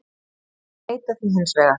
Þeir neita því hins vegar